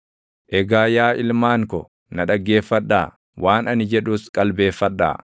Egaa yaa ilmaan ko, na dhaggeeffadhaa; waan ani jedhus qalbeeffadhaa.